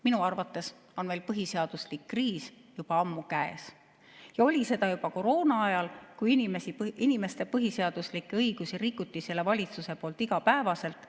Minu arvates on meil põhiseaduslik kriis ammu käes, oli juba koroonaajal, kui inimeste põhiseaduslikke õigusi rikkus see valitsus igapäevaselt.